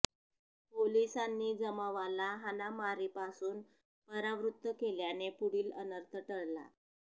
पोलिसांनी जमावाला हाणामारीपासून परावृत्त केल्याने पुढील अनर्थ टळला